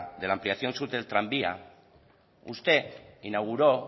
de la ampliación sur del tranvía usted inauguró